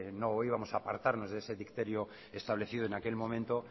no íbamos a apartarnos de ese dicterio establecido en aquel momento